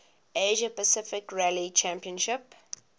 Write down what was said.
asia pacific rally championship